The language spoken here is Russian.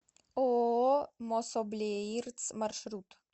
ооо мособлеирц маршрут